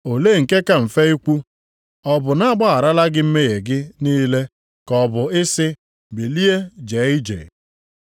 Olee nke ka mfe ikwu: Ọ bụ a gbagharala gị mmehie gị niile, ka ọ bụ ị sị, Bilie jee ije?